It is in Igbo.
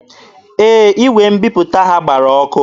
Ee, igwe mbiputa ha gbara ọkụ.